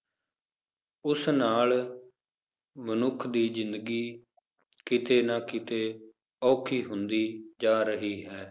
ਉਸ ਨਾਲ ਮਨੁੱਖ ਦੀ ਜ਼ਿੰਦਗੀ ਕਿਤੇ ਨਾ ਕਿਤੇ ਔਖੀ ਹੁੰਦੀ ਜਾ ਰਹੀ ਹੈ